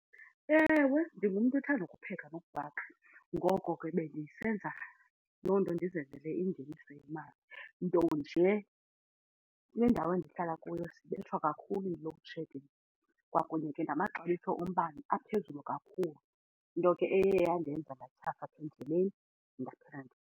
Ewe, ndingumntu othanda ukupheka nokubhaka ngoko ke bendisenza loo nto ndizenzele ingeniso yemali. Nto nje kule ndawo endihlala kuyo sibethwa kakhulu yi-load shedding kwakunye ke namaxabiso ombane aphezulu kakhulu nto ke eye yandenza ndatyhafa endleni .